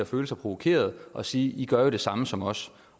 føle sig provokeret og sige i gør jo det samme som os